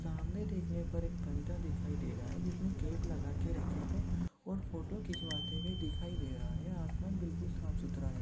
सामने देखने पर एक बंदा दिखाई दे रहा है जिसने कैप लगा के रखी है और फोटो खिचवाते हुये दिखाई दे रहा है आसमान बिल्कुल साफ- सुथरा है।